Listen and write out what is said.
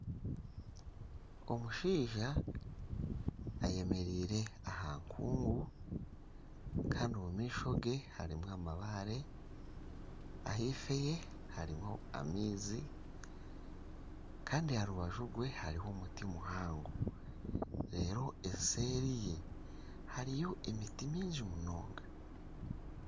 omushaija ayemereire aha nkungu kandi omu maisho ge hariho amabaare ahaifo ye harimu amaizi kandi aha rubaju rwe hariho omuti muhango reero eseeri ye hariyo emiti mingi munonga